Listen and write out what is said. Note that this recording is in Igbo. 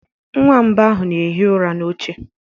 Nwamba ahụ na-ehi ụra n'oche.